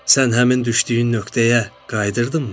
Sən həmin düşdüyün nöqtəyə qayıdırdınmı?